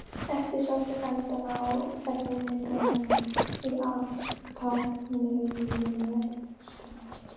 Ekki sá fyrir endann á erfiðleikunum í athafnalífinu fyrir austan.